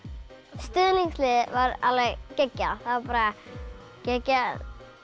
stuðningsliðið var alveg geggjað bara geggjað